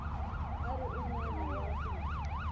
a ri un wana wa